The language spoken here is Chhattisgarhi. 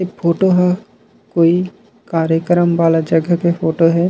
ए फोटो ह कोई कार्यक्रम वाला जगह के फोटो हे।